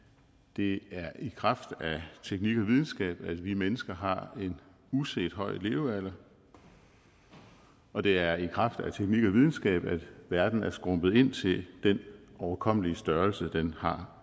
det er i kraft af teknik og videnskab at vi mennesker har en uset høj levealder og det er i kraft af teknik og videnskab at verden er skrumpet ind til den overkommelige størrelser den har